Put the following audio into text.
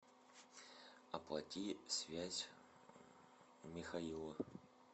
оплати связь михаила